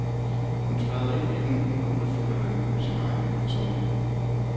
Hun træder ind i den og udfylder den med sin egen personlighed.